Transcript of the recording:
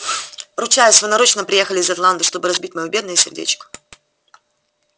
ручаюсь вы нарочно приехали из атланты чтобы разбить моё бедное сердечко